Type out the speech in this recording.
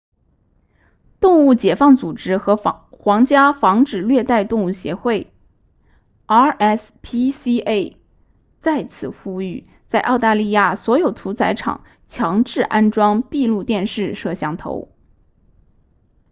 动物解放组织和皇家防止虐待动物协会 rspca 再次呼吁在澳大利亚所有屠宰场强制安装闭路电视摄像头